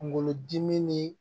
Kungolo dimi ni